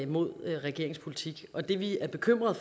mod regeringens politik og det vi er bekymret